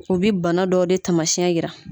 U bi bana dɔw de taamasiɛn yira.